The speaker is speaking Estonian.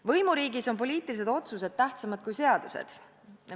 Võimuriigis on poliitilised otsused tähtsamad kui seadused.